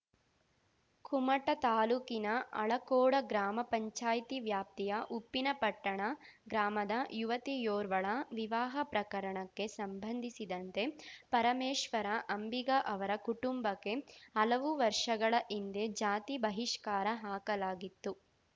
ಕುಮಟಾ ತಾಲೂಕಿನ ಅಳಕೋಡ ಗ್ರಾಮಪಂಚಾಯ್ತಿ ವ್ಯಾಪ್ತಿಯ ಉಪ್ಪಿನಪಟ್ಟಣ ಗ್ರಾಮದ ಯುವತಿಯೋರ್ವಳ ವಿವಾಹ ಪ್ರಕರಣಕ್ಕೆ ಸಂಬಂಧಿಸಿದಂತೆ ಪರಮೇಶ್ವರ ಅಂಬಿಗ ಅವರ ಕುಟುಂಬಕ್ಕೆ ಹಲವು ವರ್ಷಗಳ ಹಿಂದೆ ಜಾತಿ ಬಹಿಷ್ಕಾರ ಹಾಕಲಾಗಿತ್ತು